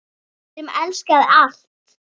Sem elskaði allt.